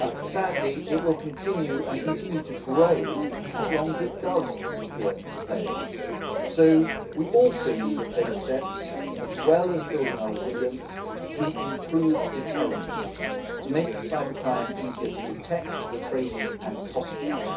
Sadly, it will continue and will continue to grow as long as it does appear to pay, so we also need to take steps as well as building our resilience to improve deterrents and to make cybercrime easier to detect, trace and prosecute.